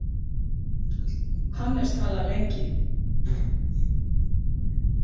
Hannes talar lengi.